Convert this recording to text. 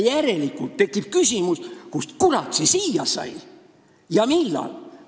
Järelikult tekib küsimus, kust, kurat, see siia sai ja millal.